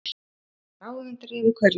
Að hafa ráð undir rifi hverju